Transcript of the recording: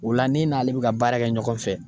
O la n'e n'ale be ka baara kɛ ɲɔgɔn fɛ